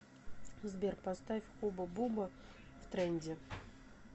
сбер поставь хуба буба втренде